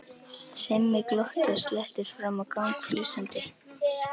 Simmi glotti og slettist fram á gang flissandi.